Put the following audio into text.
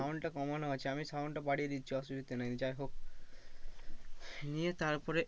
Sound টা কমানো আছে আমি sound টা বাড়িয়ে দিচ্ছি অসুবিধা নেই যাই হোক নিয়ে তারপরে